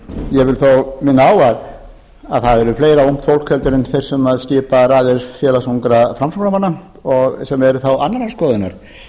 ég vil þó minna á að það er fleira ungt fólk en þeir sem skipa raðir félags ungra framsóknarmanna sem eru þá annarrar skoðunar